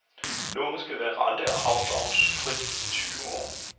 Lånet skal være rente- og afdragsfrit i tyve år.